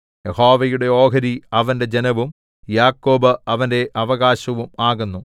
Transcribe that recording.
യഹോവയുടെ ഓഹരി അവന്റെ ജനവും യാക്കോബ് അവന്റെ അവകാശവും ആകുന്നു